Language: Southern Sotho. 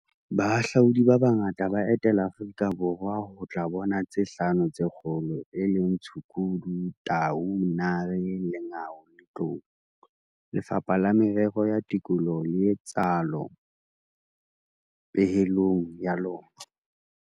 "Bahahlaudi ba bangata ba etela Aforika Borwa ho tla bona tse Hlano tse Kgolo, e leng tshukudu, tau, nare, lengau le tlou," Lefapha la Merero ya Tikoloho le itsalo pehelong ya lona.